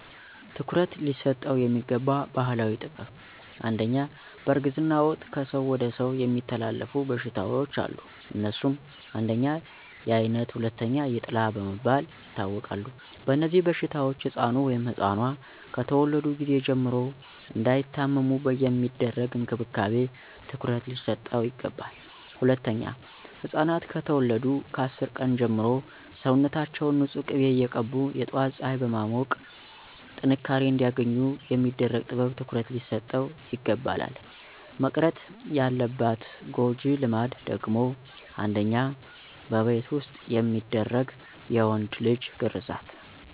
ትኩረት ሊሰጠው የሚገባ ባህላዊ ጥበብ #1, በእርግዝና ወቅት ከሰው ወደ ሰው የሚተላለፉ በሽታዎች አሉ. አነሱም: 1, የአይነት 2, የጥላ በመባል ይታወቃሉ. በእነዚህበሽታዎች ሕፃኑ(ኗ)ከተወለዱ ጊዜ ጀምሮ እንዳይታመሙ የሚደረግ እንክብካቤ ትኩረት ሊሰጠው ይገባል. #2, ሕፃናት ከተወለዱ ከ10 ቀን ጀምሮ ሰውነታችውን ንፁህ ቂቤ እየቀቡ የጧት ፀሐይ በማሞቅ ጥንካሬ አንዲያገኙ የሚደረግ ጥበብ ትኩረት ሊሰጠው ይግባላል. መቅረት ያለባት ጎጂ ልማድ ደግሞ: 1, በቤት ዉስጥ የሚደረግ የወንድ ልጅ ግርዛት